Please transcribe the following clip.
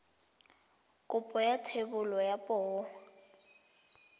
kopo ya thebolo ya poo